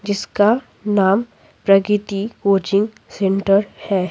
जिसका नाम Pragati coaching centre है।